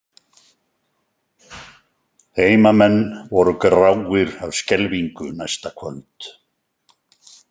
Heimamenn voru gráir af skelfingu næsta kvöld.